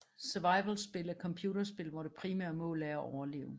Survivalspil er computerspil hvor det primære mål er at overleve